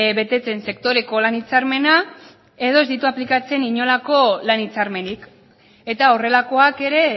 betetzen sektoreko lan hitzarmena edo ez ditu aplikatzen inolako lan hitzarmenik eta horrelakoak ere